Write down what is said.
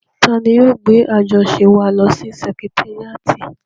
Tani yóò gbé àjọṣe wa lọ sí sẹkitéríàtì?